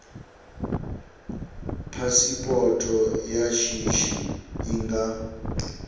phasipoto ya shishi i nga